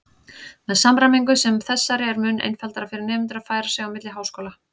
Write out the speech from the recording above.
Með samræmingu sem þessari er mun einfaldara fyrir nemendur að færa sig á milli háskóla.